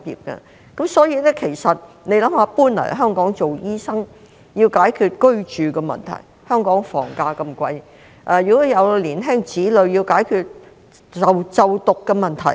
大家試想一想，醫生遷往香港要解決居住的問題，而香港房價那麼貴，有年輕子女的還要解決就讀的問題。